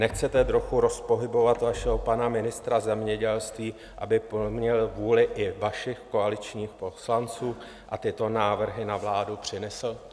Nechcete trochu rozpohybovat vašeho pana ministra zemědělství, aby plnil vůli i vašich koaličních poslanců a tyto návrhy na vládu přinesl?